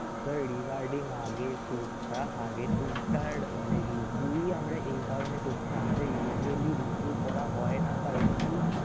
sir regarding আগের tour টা আগের tour টার মানে review আমরা এই কারণে করছি আমাদের usually review করা হয়না কারণ কি